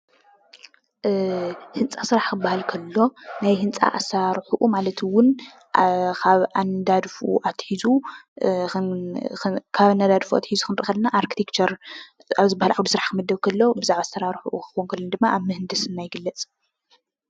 እ ህንፃ ስራሕ ክበሃል ከሎ ናይ ህንፃ አስራርሕኡ ማለት እውን ካብ ኣነዳድፉኡ ኣትሒዙ ክንሪኢ ከለና አርክቴክቸር ኣብ ዝበሃል ዓውዲ ስራሕ ክምደብ እንከሎ ብዛዕባ አስራርሑኡ ድማ ኣብ ምህንድስና ይግለፅ፡፡